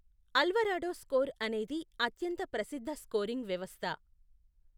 Alvarado score అనేది అత్యంత ప్రసిద్ధ స్కోరింగ్ వ్యవస్థ.